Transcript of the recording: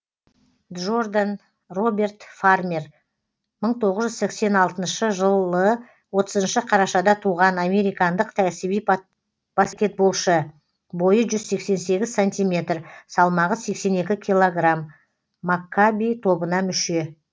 джо рдан роберт фа рмер мың тоғыз жүз сексен алтыншы жылы отызыншы қарашада туған американдық кәсіби баскетболшы бойы жүз сексен сегіз сантиметр салмағы сексен екі килограмм маккаби тобына мүше